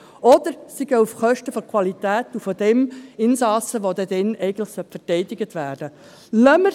Oder es geht auf Kosten der Qualität und des Insassen, der dann eigentlich verteidigt werden sollte.